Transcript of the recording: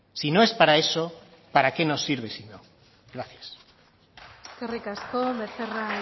si no es para eso para qué nos sirve si no gracias eskerrik asko becerra